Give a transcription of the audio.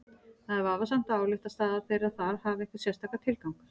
Það er vafasamt að álykta að staða þeirra þar hafi einhvern sérstakan tilgang.